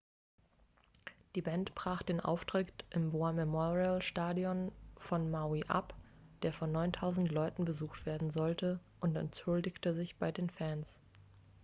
die band brach den auftritt im war-memorial-stadion von maui ab der von 9.000 leuten besucht werden sollte und entschuldigte sich bei den fans